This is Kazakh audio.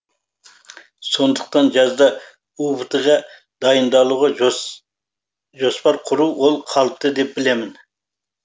сондықтан жазда убт ға дайындалуға жоспар құру ол қалыпты деп білемін